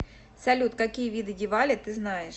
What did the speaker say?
салют какие виды дивали ты знаешь